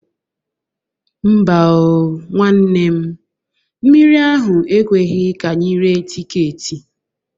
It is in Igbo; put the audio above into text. Mba o, nwanne m. Mmiri ahụ ekweghi ka anyị ree tiketi